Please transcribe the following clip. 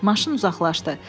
Maşın uzaqlaşdı.